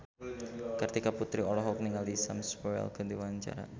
Kartika Putri olohok ningali Sam Spruell keur diwawancara